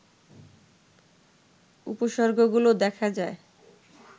উপসর্গগুলো দেখা যায়